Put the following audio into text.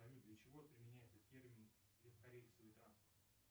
салют для чего применяется термин легкорельсовый транспорт